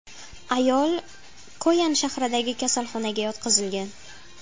Ayol Koyan shahridagi kasalxonaga yotqizilgan.